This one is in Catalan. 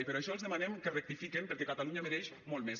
i per això els demanem que rectifiquen perquè catalunya mereix molt més